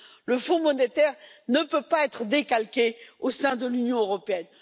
Le fonds monétaire ne peut pas être décalqué au sein de l'Union européenne.